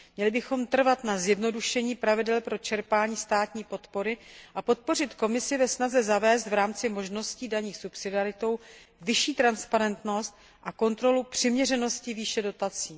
Měli bychom trvat na zjednodušení pravidel pro čerpání státní podpory a podpořit Komisi ve snaze zavést v rámci možností daných subsidiaritou vyšší transparentnost a kontrolu přiměřenosti výše dotací.